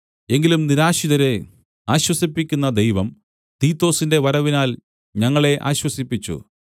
എങ്കിലും നിരാശിതരെ ആശ്വസിപ്പിക്കുന്ന ദൈവം തീത്തൊസിന്‍റെ വരവിനാൽ ഞങ്ങളെ ആശ്വസിപ്പിച്ചു